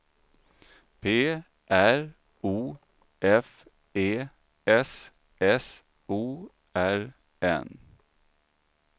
P R O F E S S O R N